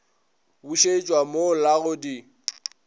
bušetšwa mo la go di